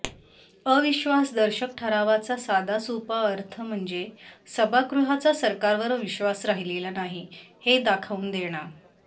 अविश्वास दर्शक ठरावाचा साधा सोपा अर्थ म्हणजे सभागृहाचा सरकारवर विश्वास राहिलेला नाही हे दाखवून देणं